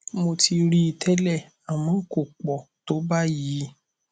mo ti rí i tẹlẹ àmọ kò pọ tó báyìí